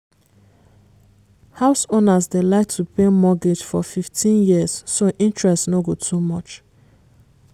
house owners dey like to pay mortgage for 15 years so interest no go too much.